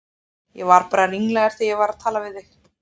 Ég var bara ringlaður þegar ég var að tala við þig.